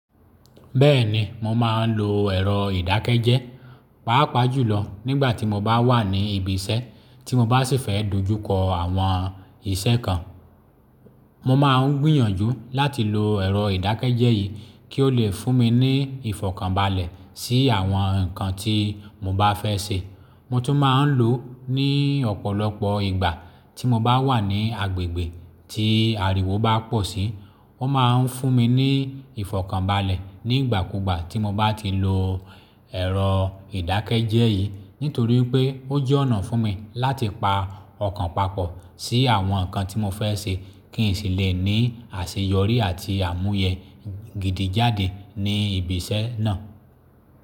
Bẹ́ẹ̀ni, mo máa ń lo ẹ̀rọ ìdákẹ́jẹ́, pàápàá jùlọ nígbàtí mo bá wà ní ibi iṣẹ́ tí mo bá sì fẹ́ dojúkọ àwọn iṣẹ́ kan. Mo máa ń gbìyànjú láti lo ẹ̀rọ ìdákẹ́jẹ́ yìí kí ó lè fún mi ní ìfọ̀kànbalẹ̀ sí àwọn nǹkan tí mo bá fẹ́ ṣe. Mo tún máa ń lò ó ní ọ̀pọ̀lọpọ̀ ìgbà tí mo bá wà ní agbègbè tí ariwo bá pọ̀ sí. Ó máa ń fún mi ní ìfọ̀kànbalẹ̀ nígbà kúùgbà tí mo bá ti lo ẹ̀rọ ìdákẹ́jẹ́ yìí nítorí pé ó jẹ́ ọ̀nà fún mi láti pa ọkàn papọ̀ sí àwọn nǹkan tí mo fẹ́ ṣe kí n sì lè ní àṣeyọrí àti àmúyẹ gidi jáde ní ibi iṣẹ́ náà.